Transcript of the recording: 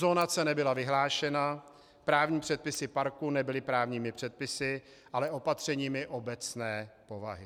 Zonace nebyla vyhlášena, právní předpisy parku nebyly právními předpisy, ale opatřeními obecné povahy.